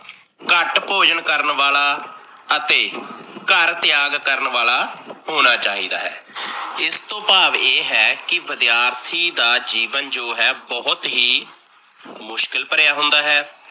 ਘੱਟ ਭੋਜਨ ਕਰਨ ਵਾਲਾ, ਅਤੇ ਘਰ ਤਿਆਗ ਕਰਨ ਵਾਲਾ ਹੋਣਾ ਚਾਹੀਦਾ ਹੈ। ਇਸ ਤੋਂ ਭਾਵ ਇਹ ਹੈ ਕੀ ਵਿਦਿਆਰਥੀ ਦਾ ਜੀਵਨ ਜੋ ਹੈ ਬਹੁਤ ਹੀ ਮੁਸ਼ਕਿਲ ਭਰਿਆ ਹੁੰਦਾ ਹੈ।